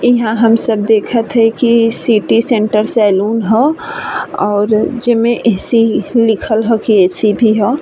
इहाँ हम सब देखत हई की इ सिटी सेण्टर सैलून ह और जेमे ए.सी. लिखल ह की ए सी भी ह।